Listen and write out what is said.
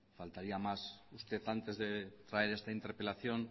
faltaría más usted antes de traer esta interpelación